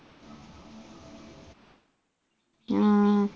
ഉം